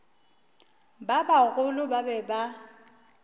ba bagolo ba be ba